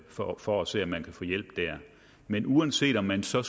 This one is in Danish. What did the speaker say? for for at se om man kunne få hjælp der men uanset om man så